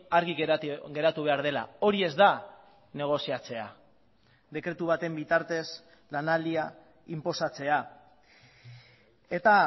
argi geratu behar dela hori ez da negoziatzea dekretu baten bitartez lanaldia inposatzea eta